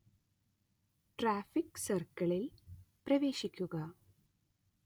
traffic സർക്കിളിൽ പ്രവേശിക്കുക